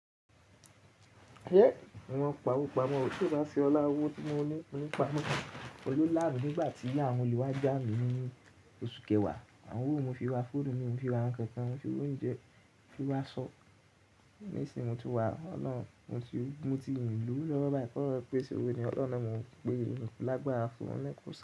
Eh! Mo mọn pawó pamọ́ ó, tí ẹ baá ṣe ọlá owó tí mo ní, mo ní pa mó. Ọju lá mi nígbà tí àwọn olè wá já mi ní oṣù kẹwàá, àwọn owó mo fi rá fóònù mi, mo fi ra nǹkan kan, mo fi rá oúnjẹ, mo fi rá aṣọ. Nísìín mo ti wá ọ̀nà, mo ti, mo ti mi ò lówó lọ́wọ́ báyì, kí oloun pé ṣe òwo ni ọlọ́un nà ni mo ń pe n ku lágbára fún wọn lẹ́kọ̀ọ́.